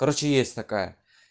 короче есть такая